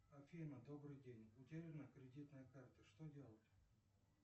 афина добрый день утеряна кредитная карта что делать